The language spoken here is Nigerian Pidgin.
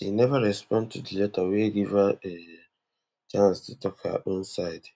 she neva respond to di letter wey give her um chance to tok her own side